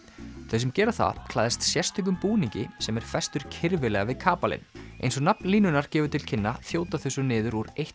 þau sem gera það klæðast sérstökum búningi sem er festur kirfilega við kapalinn eins og nafn línunnar gefur til kynna þjóta þau svo niður úr